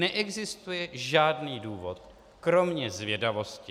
Neexistuje žádný důvod kromě zvědavosti.